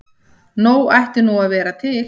Nóg ætti nú að vera til.